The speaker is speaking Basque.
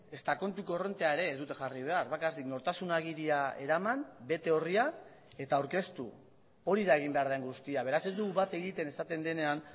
ezta kontu korrontea ere ez dute jarri behar bakarrik nortasun agiria eraman bete orria eta aurkeztu hori da egin behar den guztia beraz ez dugu bat egiten esaten denean